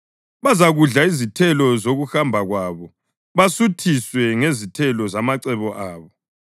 bazakudla izithelo zokuhamba kwabo basuthiswe ngezithelo zamacebo abo.